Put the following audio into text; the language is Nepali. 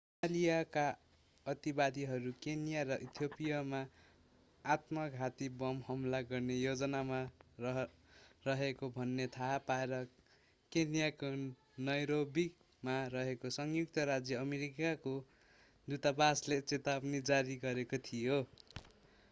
सोमालियाका अतिवादीहरू केन्या र इथियोपियामा आत्मघाती बम हमला गर्ने योजनामा रहेको भन्ने थाहा पाएर केन्याको नैरोबीमा रहेको संयुक्त राज्य अमेरिकाको दूतावासले चेतावनी जारी गरेको थियो